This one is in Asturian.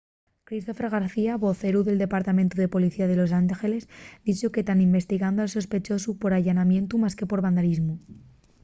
christopher garcía voceru del departamentu de policía de los angeles dixo que tán investigando al sospechosu por allanamientu más que por vandalismu